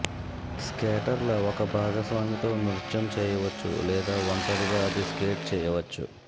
స్కేటర్ల ఒక భాగస్వామి తో నృత్యం చేయవచ్చు లేదా ఒంటరిగా అది స్కేట్ చేయవచ్చు